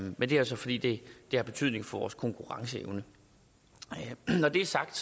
men det er så fordi det har betydning for vores konkurrenceevne når det er sagt